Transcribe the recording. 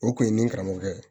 O kun ye ni karamɔgɔkɛ ye